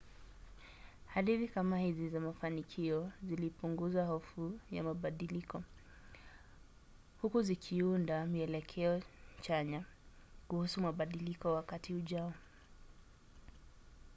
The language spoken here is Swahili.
hadithi kama hizi za mafanikio zilipunguza hofu ya mabadiliko huku zikiunda mielekeo chanya kuhusu mabadiliko wakati ujao